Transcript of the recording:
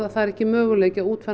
er ekki möguleiki að útfæra